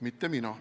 Mitte mina.